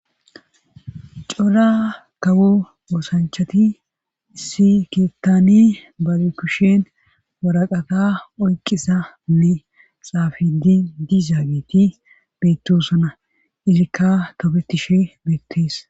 cora kawo oosanchati issi keettani bage kushen waraqata oyqisanne xaafidi dizaagiti beettosana izikka topetishe beettees